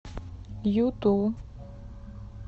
юту